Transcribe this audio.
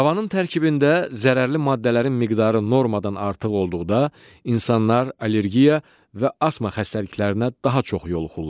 Havanın tərkibində zərərli maddələrin miqdarı normadan artıq olduqda insanlar allergiya və asma xəstəliklərinə daha çox yoluxurlar.